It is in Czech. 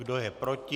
Kdo je proti?